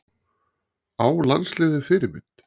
Á landsliðið Fyrirmynd?